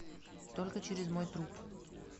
только через мой труп